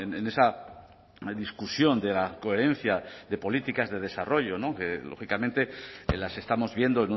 en esa discusión de la coherencia de políticas de desarrollo que lógicamente las estamos viendo